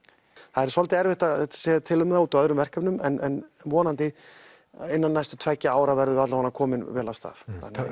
það er svolítið erfitt að segja til um það út af öðrum verkefnum en vonandi innan tveggja ára verðum við komin vel af stað